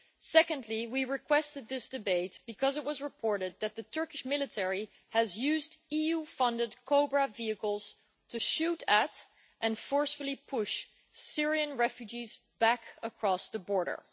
Secondly, we requested this debate because it was reported that the Turkish military has used EU funded Cobra vehicles to shoot at and forcefully push Syrian refugees back across the border.